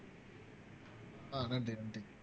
ஆஹ் நன்றி நன்றி